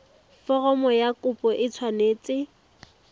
foromo ya kopo e tshwanetse